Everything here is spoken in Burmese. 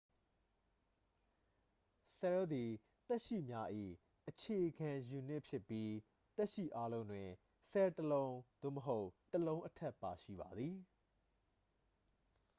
ဆဲလ်သည် သက်ရှိများ၏ အခြေခံယူနစ် ဖြစ်ပြီး သက်ရှိအားလုံးတွင် ဆဲလ် တစ်လုံး သို့မဟုတ် တစ်လုံးအထက် ပါရှိပါသည်